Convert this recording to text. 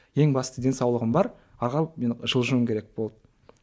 ең бастысы денсаулығым бар алға мен жылжуым керек болды